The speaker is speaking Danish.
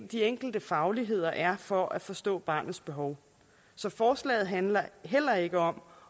de enkelte fagligheder er for at forstå barnets behov så forslaget handler heller ikke om